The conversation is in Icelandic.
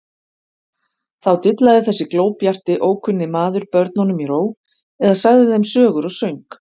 Þá dillaði þessi glóbjarti, ókunni maður börnunum í ró eða sagði þeim sögur og söng.